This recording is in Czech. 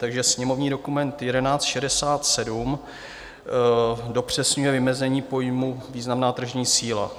Takže sněmovní dokument 1167 dopřesňuje vymezení pojmu významná tržní síla.